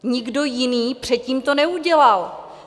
Nikdo jiný předtím to neudělal.